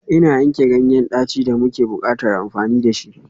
Ina yanke ganyen daci da muke buƙatar amfani da shi.